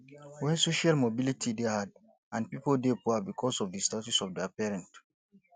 when social mobility dey hard and pipo dey poor because of di status of their parent